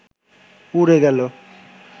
উড়ে গেল